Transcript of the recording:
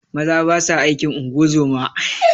Maza basa aikin ungozoma